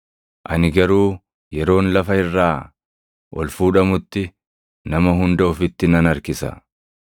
Ani garuu yeroon lafa irraa ol fuudhamutti nama hunda ofitti nan harkisa.”